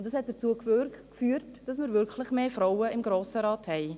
Dies hat dazu geführt, dass wir mehr Frauen im Grossen Rat haben.